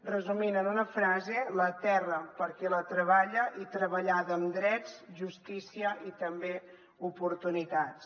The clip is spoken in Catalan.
resumint en una frase la terra per a qui la treballa i treballada amb drets justícia i també oportunitats